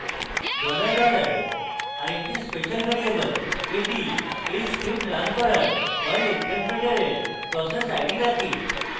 dollar dollar আরেকটি special variable এটি এই script running করার perl interpreter process id রাখে